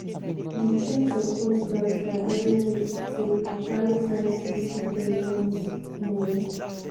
• di child support grant by r30 to r560 per month. month.